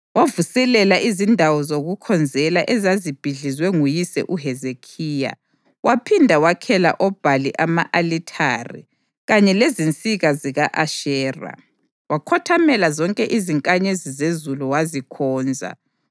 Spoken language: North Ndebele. Wavuselela izindawo zokukhonzela ezazibhidlizwe nguyise uHezekhiya; waphinda wakhela oBhali ama-alithare kanye lezinsika zika-Ashera. Wakhothamela zonke izinkanyezi zezulu wazikhonza.